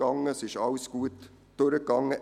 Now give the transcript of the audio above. Alles ging gut durch.